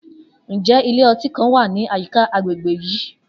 Njẹ ilẹ-ọti kan wa ni ayika agbegbe yii?